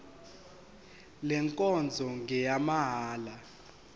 le nkonzo ngeyamahala